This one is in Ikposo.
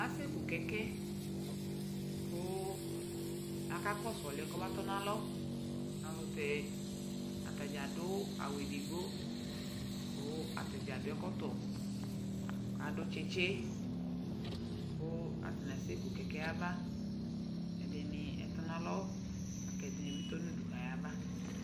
Asɛku kɛkɛ kʋakakɔsʋ ɔlʋ yɛ kɔmatɔnalɔ, nanʋ tɛ atadzaa adʋ awʋ edigbo kʋ atadzaa adʋ ɛkɔtɔ, k'adʋ tsɩtsɩ kʋ stanɩ asɛkʋ kɛkɛ yɛ aba, ɛdɩnɩ atɔ n'alɔ lak'ɛdɩnɩ bɩ tɔ n'udu k'ayaba